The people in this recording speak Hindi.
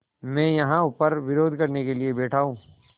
मैं यहाँ ऊपर विरोध करने के लिए बैठा हूँ